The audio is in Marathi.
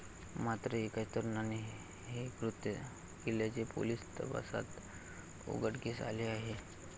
मात्र एकाच तरुणाने हे कृत्य केल्याचे पोलीस तपासात उघडकीस आले आहे.